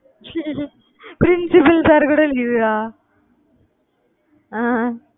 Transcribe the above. principal sir கூட leave அ அஹ் அஹ்